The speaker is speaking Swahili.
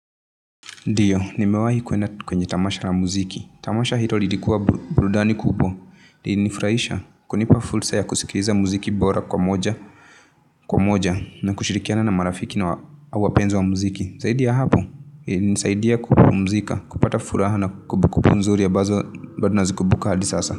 Ndio, nimewahi kuenda kwenye tamasha la muziki. Tamasha hilo lilikuwa burudani kubwa. Lili nifurahisha, kunipa fursa ya kusikiliza muziki bora kwa moja kwa moja na kushirikiana na marafiki na wapenzi wa muziki. Zaidi ya hapo, ilini saidia kupumuzika. Kupata furaha na kumbukumbu nzuri ambazo bado nazikumbuka hadi sasa.